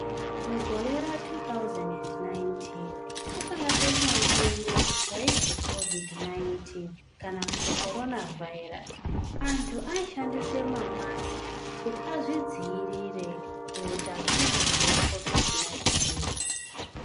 Mugore ra2019 kwakauya beshamupengo raizi kovhidhi 19 kana kuti korona vhairasi. Antu aishandisa mombasiki kuti azvidziviriri kuutachiona hwekovhidhi 19.